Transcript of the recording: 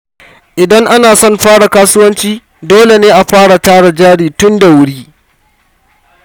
Idan ana son fara kasuwanci, dole ne a fara tara jari tun da wuri.